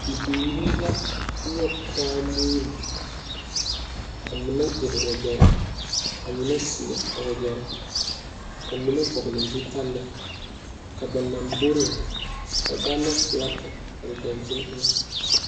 Bibiiri la nyɔge taa nuuri ka mine gyiri wagyɛre ka mine seɛ a wagyɛre ka mine vɔgle zutali ka ba lamboriŋ ka Gaana filaki mare dankyini eŋa.